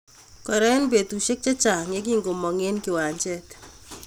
Kora eng betusiek chechang yekingomong eng kiwanjet